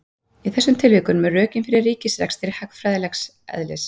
Í þessum tilvikum eru rökin fyrir ríkisrekstri hagfræðilegs eðlis.